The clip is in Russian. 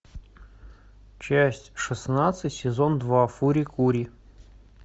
часть шестнадцать сезон два фури кури